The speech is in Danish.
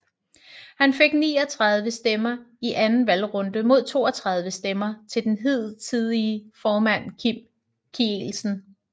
Han fik 39 stemmer i anden valgrunde mod 32 stemmer til den hidtidige formand Kim Kielsen